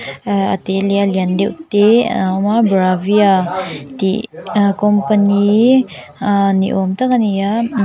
aa a te leh a lian deuh te a awm a bravia tih company aa ni awm tak a ni a.